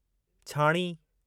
छाणी